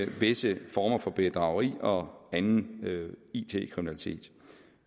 visse former for bedrageri og anden it kriminalitet